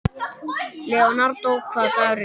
Leonardó, hvaða dagur er í dag?